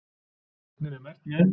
Sögnin er merkt með?